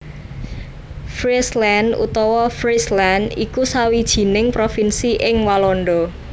Friesland utawa Fryslân iku sawijining provinsi in Walanda